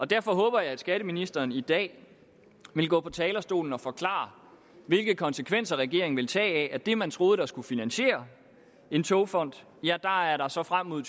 derfor håber jeg at skatteministeren i dag vil gå på talerstolen og forklare hvilke konsekvenser regeringen vil tage af at det man troede skulle finansiere en togfond er der så frem mod